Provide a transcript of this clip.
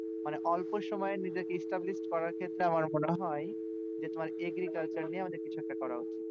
মানে অল্প সময়য়ে নিজেকে establish করা আমার মনে হয় যে তোমার agriculture নিয়ে আমাদের কিছু একটা করা উচিত